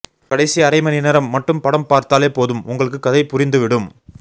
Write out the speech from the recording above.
கடைசி அரை மணி நேரம் மட்டும் படம் பார்த்தாலே போதும் உங்களுக்கு கதை புரிந்துவிடும்